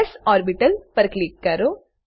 S orbital પર click કરો